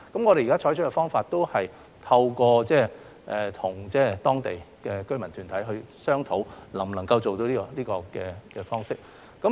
我們現在採取的方法是透過與當地的居民團體商討，看看這個方式是否做得到。